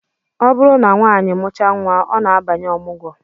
Ọ bụrụ na nwanyị mụchaa nnwa, ọ na-abanye ọmụgwọ